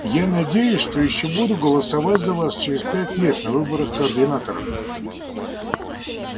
я надеюсь что ещё буду голосовать за вас через пять лет на выборах координатора